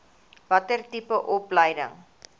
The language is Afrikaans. watter tipe opleiding